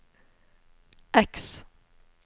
X